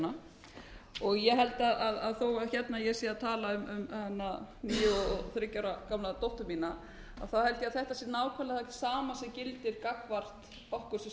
hana og ég held að þó að ég sé að tala um níu og þriggja ára gamla dóttur mína þá held ég að þetta sé nákvæmlega það sama sem gildir gagnvart okkur sem